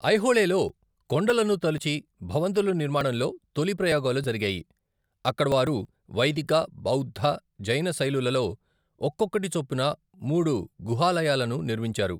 ఐహోళేలో కొండలను తొలిచి భవంతుల నిర్మాణంలో తొలి ప్రయోగాలు జరిగాయి, అక్కడ వారు వైదిక, బౌద్ధ, జైన శైలులలో ఒక్కొక్కటి చొప్పున మూడు గుహాలయాలను నిర్మించారు.